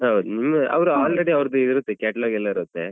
ಹೌದು ಅವ್ರದ್ದು already ಇರುತ್ತೆ catalog ಎಲ್ಲ ಇರುತ್ತೆ.